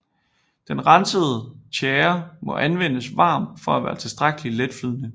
Den rensede tjære må anvendes varm for at være tilstrækkelig letflydende